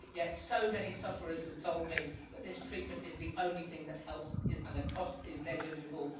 Yet so many sufferers have told me that this treatment is the only thing that helps, and the cost is negligible.